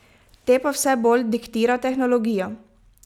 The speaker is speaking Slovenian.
Te pa vse bolj diktira tehnologija.